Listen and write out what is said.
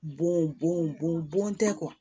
Bon bɔn bɔn bɔn tɛ